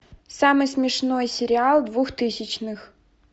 самый смешной сериал двухтысячных